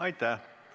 Aitäh!